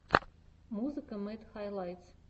музыка мэд хайлайтс